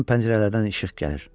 Bütün pəncərələrdən işıq gəlir.